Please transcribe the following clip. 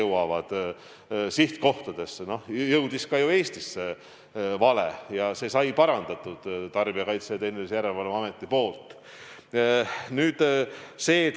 Ka Eestisse jõudis vale saadetis ja see viga sai parandatud Tarbijakaitse ja Tehnilise Järelevalve Ameti abil.